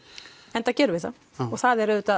enda gerum við það það er auðvitað